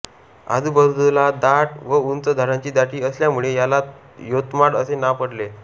आजूबाजूला दाट व उंच झाडांची दाटी असल्यामुळे याला योतमाड असे नाव पडले होते